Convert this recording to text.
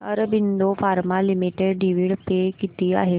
Aurobindo pharma limited dividend pay किती आहे